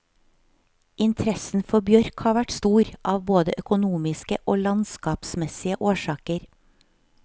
Interessen for bjørk har vært stor, av både økonomiske og landskapsmessige årsaker.